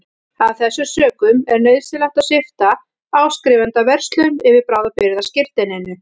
Af þessum sökum er nauðsynlegt að svipta áskrifanda vörslum yfir bráðabirgðaskírteininu.